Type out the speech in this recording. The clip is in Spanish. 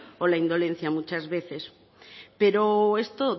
o la indolencia muchas veces pero esto